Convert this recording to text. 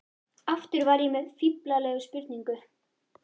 Aftur var ég með fíflalega spurningu.